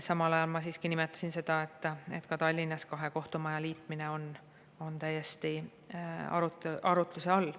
Samal ajal ma siiski nimetasin seda, et ka Tallinnas kahe kohtumaja liitmine on täiesti arutluse all.